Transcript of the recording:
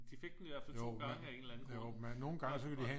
De fik den i hvert fald 2 gange af en eller anden grund